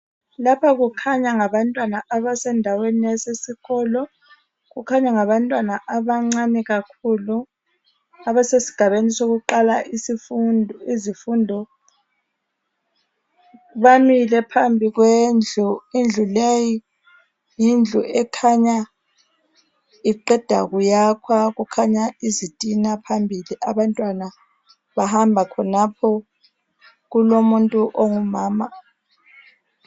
Lapha kukhanya ngabantwana abasendawene yasesikolo. Kukhanya ngabantwana abancane kakhulu abasesigabeni sokuqala izifundo. Bamile phambi kwendlu, indlu leyi yindlu ekhanya iqeda kuyakhwa kukhanya izitina phambili. Abantwana bahamba khonapho kulomuntu ongumama.